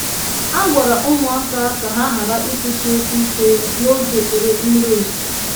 A gwara ụmụaka ka ha ghara ikwusi okwu ike n'oge ekpere mmiri ozuzo.